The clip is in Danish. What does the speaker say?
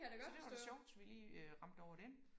Så det var da sjovt vi lige øh ramte over den